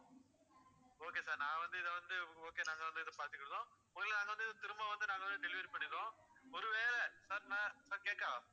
okay sir நான் வந்து இதை வந்து okay நாங்க வந்து இத பாத்துகிடதோம் பொருள நாங்க வந்து திரும்ப வந்து நாங்க வந்து delivery பண்ணிடுதோம், ஒரு வேளை sir நான் sir கேக்கா